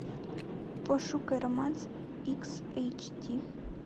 пошукай романс икс эйч ди